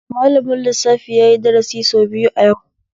Malamin lissafi yayi dasari sau biyu a yau